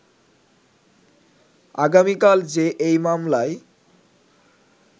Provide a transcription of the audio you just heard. আগামিকাল যে এই মামলায়